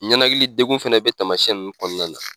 Ɲɛnakili degun fana bɛ taamayɛn nunnu kɔnɔna na.